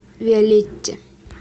виолетте